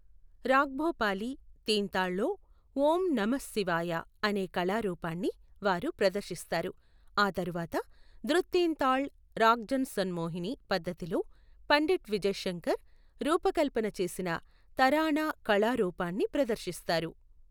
రాగ్భోపాలీ, తీన్తాళ్లో, ఓం నమఃశివాయ అనే కళారూపాన్ని వారు ప్రదర్శిస్తారు, ఆ తర్వాత ద్రుత్తెంతాళ్, రాగ్జన్సన్మోహినీ పద్ధతిలో పండిట్ విజయ్శంకర్, రూపకల్పన చేసిన తరానా కళారూపాన్ని ప్రదర్శిస్తారు.